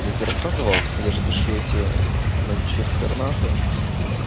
я тебе рассказывал я же пишу эти вонючие экстернаты